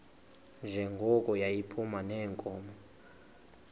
njengoko yayiphuma neenkomo